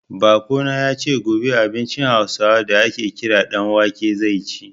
Baƙo na ya ce, gobe abincin Hausawa da a ke kira ɗan wake zai ci.